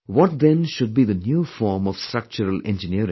What then should be the new form of structural engineering